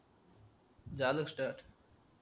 झालं स्टार्ट